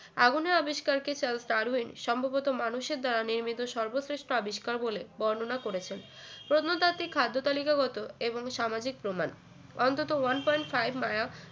আগুনের আবিষ্কার কে চার্লস ডারউইন সম্ভবত মানুষের দ্বারা নির্মিত সর্বশ্রেষ্ঠ আবিষ্কার বলে বর্ণনা করেছেন পণ্যতাত্ত্বিক খাদ্য তালিকাগত এবং সামাজিক প্রমাণ অন্তত one point five মায়া